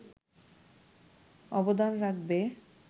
অবদান রাখবে